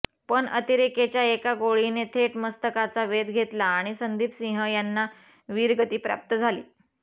पण अतिरेक्याच्या एका गोळीने थेट मस्तकाचा वेध घेतला आणि संदीप सिंह यांना वीरगती प्राप्त झाली